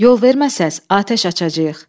Yol verməsəz, atəş açacağıq.